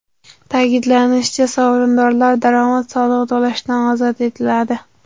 Ta’kidlanishicha, sovrindorlar daromad solig‘i to‘lashdan ozod etiladi.